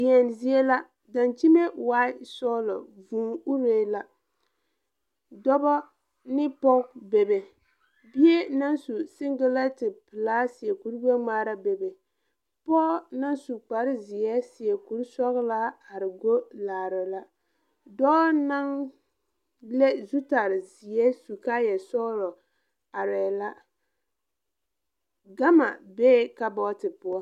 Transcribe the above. Deɛn zie la dankyime waai sɔglɔ vūū uree la dobɔ ne poge bebe bie naŋ su singilɛnte pilaa seɛ kuri gbɛngmaara bebe pɔɔ naŋ su kparezeɛ seɛ kurisɔglaa are go laara la dɔɔ naŋ le zutarrezeɛ su kaayɛ sɔglɔ areɛɛ la gama bee kabɔɔte poɔ.